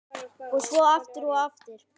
Og svo aftur og aftur.